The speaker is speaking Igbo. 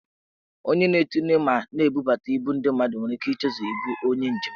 Onye na-etinye ma na-ebubuta ibu ndị mmadụ nwere ike ichezọ ibu onye njem.